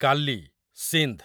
କାଲି ସିନ୍ଧ୍